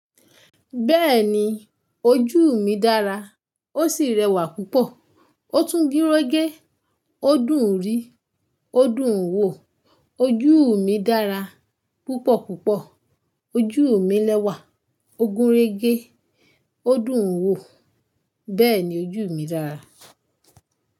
Bẹ́ẹ̀ni ojú mi dára, ó sì rẹwà púpọ̀, ó tún gun rege, ó dùn rí, ó dùn wò, ojúù mi dára púpọ̀ púpọ̀, ojúù mi lẹ́wà, ó gúnrégé, ó dùn wò, bẹ́ẹ̀ni ojúù mi dára.